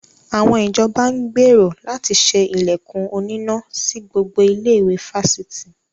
Àwọn ìjọba ń gbèrò láti ṣe ilẹ̀kùn oníná sí gbogbo ilé-ìwé fásitì.